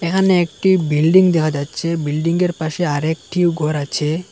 এখানে একটি বিল্ডিং দেখা যাচ্ছে বিল্ডিংঙ্গের পাশে আরেকটিও ঘর আছে।